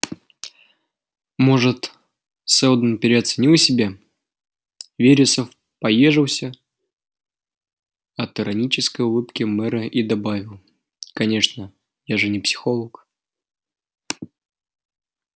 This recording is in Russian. может сэлдон переоценил себя вересов поёжился от иронической улыбки мэра и добавил конечно я же не психолог